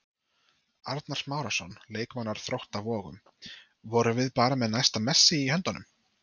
Arnar Smárason, leikmaður Þróttar Vogum: Vorum við bara með næsta Messi í höndunum?